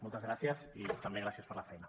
moltes gràcies i també gràcies per la feina